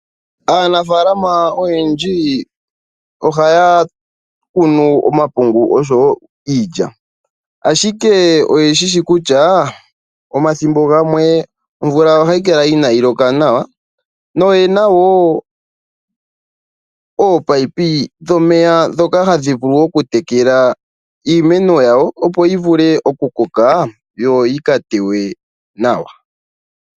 Aanafaalama oyendji ohaya kunu omapungu oshowo iilya, ashike oye shi shi kutya omathimbo gamwe omvula ohayi kala inaayi loka nawa noye na woo oopayipi dhomeya ndhoka hadhi vulu okutekela iimeno yawo, opo yi vule okukoka yo yi ka tewe nawa.